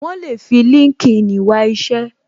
Wọn le fi LinkedIn wá isẹ